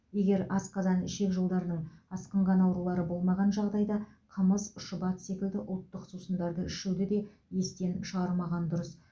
егер асқазан ішек жолдарының асқынған аурулары болмаған жағдайда қымыз шұбат секілді ұлттық сусындарды ішуді де естен шығармаған дұрыс